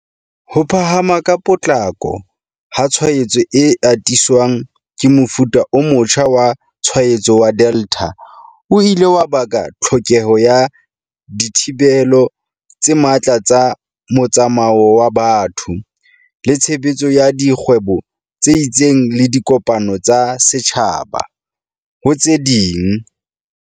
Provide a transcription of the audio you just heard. Ho phahama ka potlako ha tshwaetso e atiswang ke mofuta o motjha wa tshwaetso wa Delta o ile wa baka tlhokeho ya di thibelo tse matla tsa motsamao wa batho, le tshebetso ya di kgwebo tse itseng le dikopano tsa setjhaba, ho tse ding.